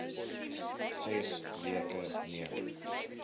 ses weke neem